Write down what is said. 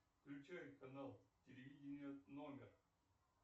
включай канал телевидения номер